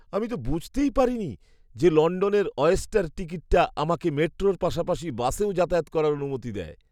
আমি তো বুঝতেই পারি নি যে লণ্ডনের অয়েস্টার টিকিটটা আমাকে মেট্রোর পাশাপাশি বাসেও যাতায়াত করার অনুমতি দেয়!